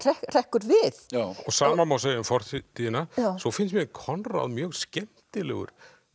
hrekkur við og sama má segja um fortíðina svo finnst mér Konráð mjög skemmtilegur